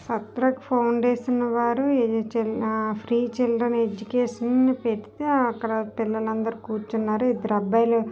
Sarthak foundation వారు ఇది child uh free children education అని పెడితే అక్కడ పిల్లలందరూ కూర్చున్నారు. ఇద్దరు అబ్బాయిలు--